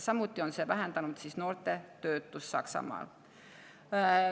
Samuti on see vähendanud noorte töötust Saksamaal.